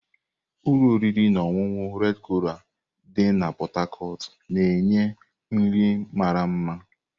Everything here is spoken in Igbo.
Ụlọ oriri na ọṅụṅụ red coral dị na Pot Tarcot na-enye nri mara mma.